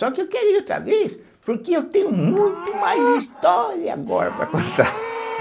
Só que eu queria ir outra vez, porque eu tenho muito mais história agora para contar.